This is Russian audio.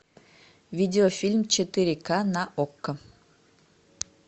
видеофильм четыре к на окко